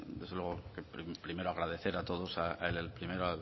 desde luego agradecer a todos al